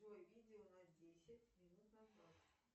джой видео на десять минут назад